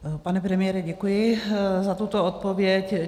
Pane premiére, děkuji za tuto odpověď.